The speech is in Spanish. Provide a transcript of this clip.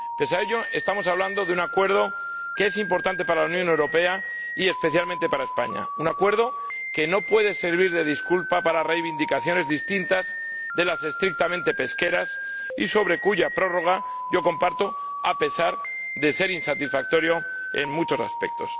Pese a ello, estamos hablando de un Acuerdo que es importante para la Unión Europea y especialmente para España, un Acuerdo que no puede servir de disculpa para reivindicaciones distintas de las estrictamente pesqueras y con cuya prórroga yo estoy de acuerdo a pesar de que el Acuerdo es insatisfactorio en muchos aspectos.